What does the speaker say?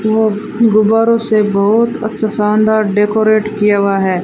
वो गुब्बरो से बहोत अच्छा शानदार डेकोरेट किया हुआ है।